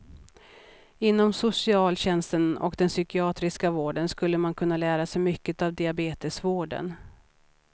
Inom socialtjänsten och den psykiatriska vården skulle man kunna lära sig mycket av diabetesvården.